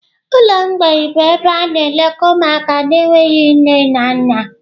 ụlọ mgbei bụ ebe a na-elekọta ụmụaka na-enweghị nne na nna.